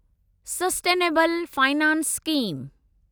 sustainable finance scheme